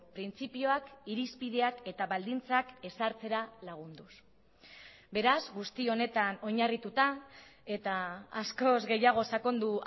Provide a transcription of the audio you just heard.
printzipioak irizpideak eta baldintzak ezartzera lagunduz beraz guzti honetan oinarrituta eta askoz gehiago sakondu